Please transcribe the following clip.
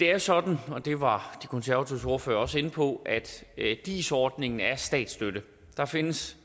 det er sådan og det var de konservatives ordfører også inde på at at dis ordningen er statsstøtte der findes